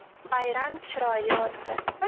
Bayram chiroyli o‘tdi.